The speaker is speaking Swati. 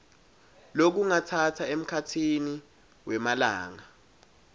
lokungatsatsa emkhatsini wemalanga